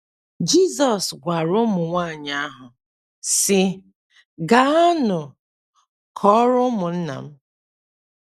Jizọs gwara ụmụ nwaanyị ahụ, sị: “ Gaanụ kọọrọ ụmụnna m. ”